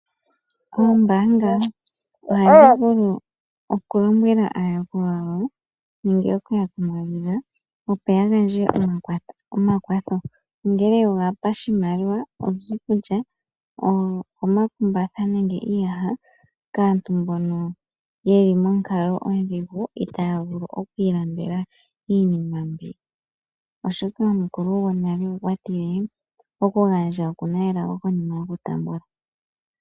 Oombanga ohadhi vulu oku lombwela aayakulwa yawo nenge okuya kumagidha opo yagandje omakwatho ongele ogo pashimaliwa , iikulya, omakumbatha nenge iiyaha kaantu mbono yeli nonkalo odhingu itavulu okwilandela iinima mbi oshoka omukulu gonale okwatile okugandja okuna elago konima yokutambula.